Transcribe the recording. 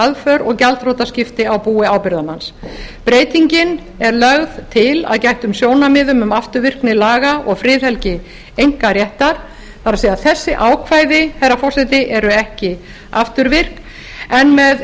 aðför og gjaldþrotaskipti á búi ábyrgðarmanns breytingin er lögð til að gættum sjónarmiðum um afturvirkni laga og friðhelgi einkaréttar það er þessi ákvæði herra forseti eru ekki afturvirk en með